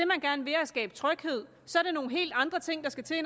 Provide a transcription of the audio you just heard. man gerne vil er at skabe tryghed så er det nogle helt andre ting der skal til